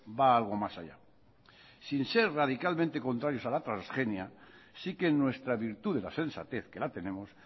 va algo más allá sin ser radicalmente contrarios a la transgenia sí que nuestra virtud de la sensatez que la tenemos